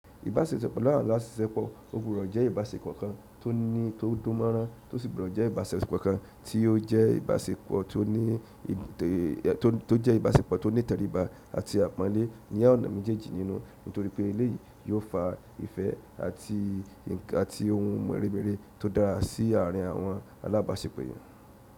Ìbáṣepọ̀ láàsìsẹ́po o gbudọ jẹ́ ìbáṣepọ̀ kan tó ní tó dómọrán tó sì gbudo jẹ́ ìbáṣepọ̀ kan tí ó jẹ́ ìbáṣepọ̀ tó ní tí ó jẹ́ ìbáṣepọ̀ tó ní tẹríba àti àpọ́nlé ní ọ̀nà méjèèjì nínú, nítorí pé eléyìí yóò fa ìfẹ́ nkan àti ohun mèremère tó dára sí àárín àwọn alábáṣepọ̀ yẹn.